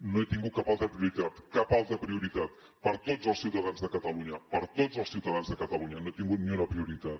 no he tingut cap altra prioritat cap altra prioritat per a tots els ciutadans de catalunya per a tots els ciutadans de catalunya no he tingut ni una prioritat